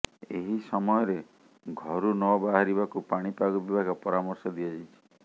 ଏହି ସମୟରେ ଘରୁନ ବାହାରିବାକୁ ପାଣିପାଗ ବିଭାଗ ପରାମର୍ଶ ଦିଆଯାଇଛି